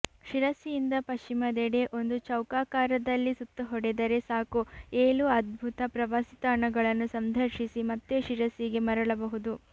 ಶಿರಸಿಯಿಂದ ಪಶ್ಚಿಮದೆಡೆ ಒಂದು ಚೌಕಾಕಾರದಲ್ಲಿ ಸುತ್ತು ಹೊಡೆದರೆ ಸಾಕು ಏಲು ಅದ್ಭುತ ಪ್ರವಾಸಿ ತಾಣಗಳನ್ನು ಸಂದರ್ಶಿಸಿ ಮತ್ತೆ ಶಿರಸಿಗೆ ಮರಳಬಹುದು